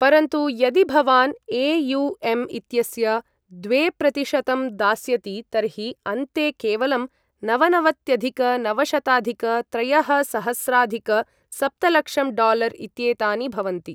परन्तु यदि भवान् ए.यु.एम्. इत्यस्य द्वेप्रतिशतम् दास्यति तर्हि अन्ते केवलं नवनवत्यधिक नवशताधिक त्रयःसहस्राधिक सप्तलक्षं डालर् इत्येतानि भवन्ति।